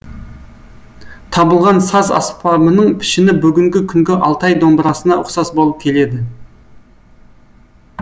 табылған саз аспабының пішіні бүгінгі күнгі алтай домбырасына ұқсас болып келеді